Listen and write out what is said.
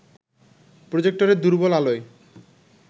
প্রজেক্টরের দুর্বল আলোয়